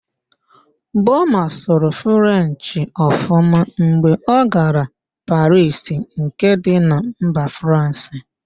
Boma sụrụ Frenchị ọfụma mgbe ọ gara Parisi nke dị na mba Fransị